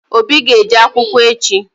Obi ga-eje akwụkwọ echi.